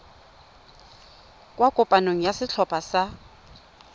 kwa kopanong ya setlhopha sa